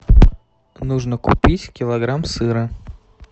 нужно купить килограмм сыра